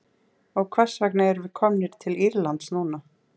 Og hvers vegna erum við komnir til Írlands núna?